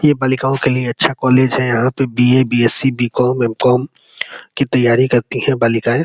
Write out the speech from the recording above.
ये बालिकाओं के लिए अच्छा कॉलेज है। यहाँ पे B _A B S C B _com M com की तैयारी करती हैं बालिकाऐं।